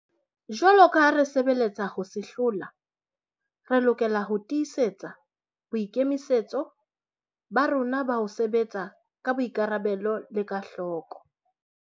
Jwaloka ha re sebeletsa ho se hlola, re lokela ho tiisetsa boikemisetso ba rona ba ho sebetsa ka boikarabelo le ka hloko.